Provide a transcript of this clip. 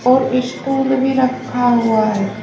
और स्टूल भी रखा हुआ है।